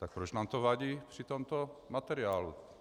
Tak proč nám to vadí při tomto materiálu?